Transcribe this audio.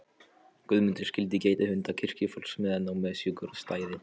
Guðmundur skyldu gæta hunda kirkjufólks meðan á messugjörð stæði.